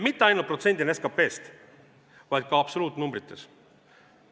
Mitte ainult protsendina SKP-st, vaid ka absoluutnumbrites.